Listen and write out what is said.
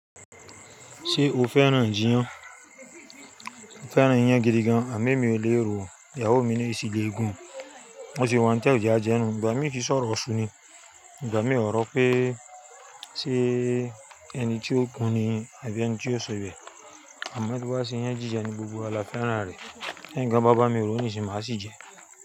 Ṣé o fẹ́ràn iyan? Mo fẹ́ràn iyan gidigan àmọ́ mi ò lè ro, ìyàwó mi na ó sì lè gùn. Bó ṣe wà òun tí ó á jẹ ajẹ́nú.ni ìgbà mi kì sọ̀rọ̀ iṣú ni. Ìgbà mi ọ̀rọ̀ pé ṣé ẹni tí ó gùn ni àbí ẹni tí ó sọ ibẹ̀. Àmọ́ bí wọ́n bá sin iyan jíjẹ ni gbogbo àlà fẹ́ràn rẹ̀. Be yan kań bá bàbá mi ro níṣin máa ṣì jẹ.